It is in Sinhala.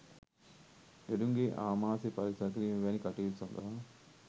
ලෙඩුන්ගේ ආමාෂය පරික්ෂා කිරීම් වැනි කටයුතු සඳහා